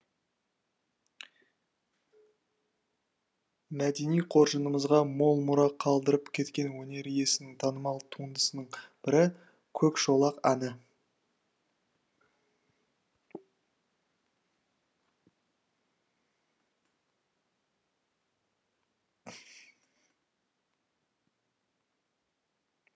мәдени қоржынымызға мол мұра қалдырып кеткен өнер иесінің танымал туындысының бірі көкшолақ әні